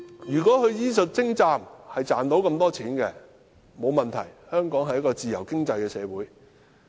如果是因為醫術精湛而賺到這麼多錢，這並無問題，因香港是一個自由經濟社會。